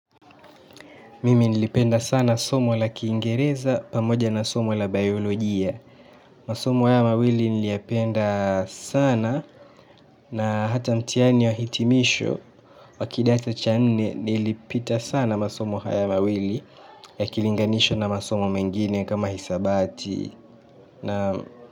Mimi nilipenda sana somo la Kiingereza pamoja na somo la bayolojia masomo haya mawili niliyapenda sana na hata mtihani ya hitimisho wa kidato cha nne nilipita sana masomo haya mawili yakilinganishwa na masomo mengine kama hisabati.